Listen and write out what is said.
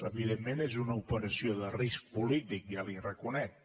evidentment és una operació de risc polític ja li ho reconec